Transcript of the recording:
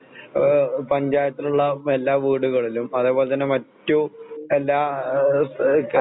ആഹ് പഞ്ചായത്തിലുള്ള എല്ലാവീടുകളിലും അതേപോലെതന്നെ മറ്റുഎല്ലാ ആഹ് ആഹ്